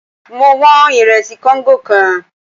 Mo wọn ìrẹsì kóńgò kan.